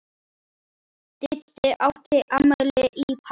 Didda átti afmæli í París.